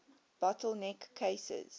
bottle neck cases